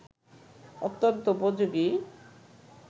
অত্যন্ত উপযোগী